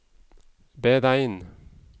beregn